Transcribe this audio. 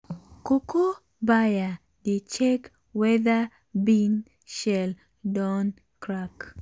cocoa buyer dey check whether bean shell don crack.